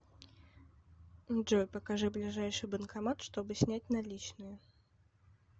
джой покажи ближайший банкомат чтобы снять наличные